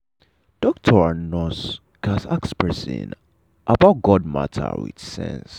doctor and nurse gatz ask person about god matter with sense.